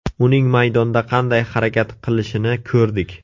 Uning maydonda qanday harakat qilishini ko‘rdik.